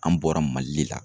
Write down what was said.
An bɔra Mali le la.